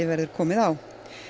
verður komið á